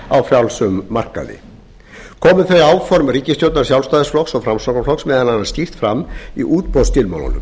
á frjálsum markaði komu þau áform ríkisstjórnar sjálfstæðisflokks og framsóknarflokks meðal annars skýrt fram í útboðsskilmálum